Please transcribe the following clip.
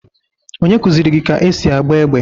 Onye kuziri gi ka esi agba égbè?